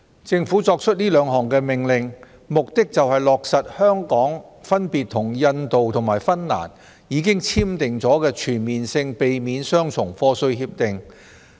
政府作出兩項命令，目的是落實香港分別與印度及芬蘭已簽訂的全面性避免雙重課稅協定。